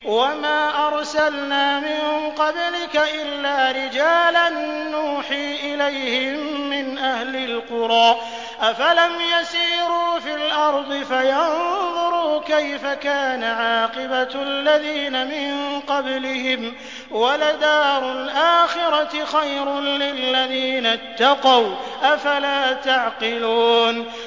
وَمَا أَرْسَلْنَا مِن قَبْلِكَ إِلَّا رِجَالًا نُّوحِي إِلَيْهِم مِّنْ أَهْلِ الْقُرَىٰ ۗ أَفَلَمْ يَسِيرُوا فِي الْأَرْضِ فَيَنظُرُوا كَيْفَ كَانَ عَاقِبَةُ الَّذِينَ مِن قَبْلِهِمْ ۗ وَلَدَارُ الْآخِرَةِ خَيْرٌ لِّلَّذِينَ اتَّقَوْا ۗ أَفَلَا تَعْقِلُونَ